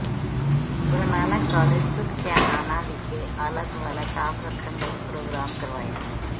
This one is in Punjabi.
ਗੁਰੂ ਨਾਨਕ ਕਾਲਜ ਸੁਖਚੈਨਆਣਾ ਵਿਖੇ ਆਲਾ ਦੁਆਲਾ ਸਾਫ਼ ਰੱਖਣ ਲਈ ਪ੍ਰੋਗਰਾਮ ਕਰਵਾਇਆ